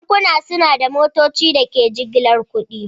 Bankunan suna da motocin da ke jigilar kuɗi.